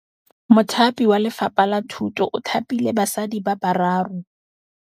Mothapi wa Lefapha la Thutô o thapile basadi ba ba raro.